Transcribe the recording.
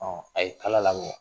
Ɔn a ye kala labɔ.